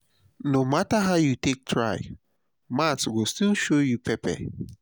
no matter how you take try maths go still show you pepper.